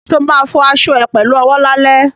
Ṣo ma fọ aṣọ ẹ pẹ̀lú owó lálẹ́?